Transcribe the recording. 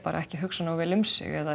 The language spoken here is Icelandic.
ekki að hugsa nógu vel um sig eða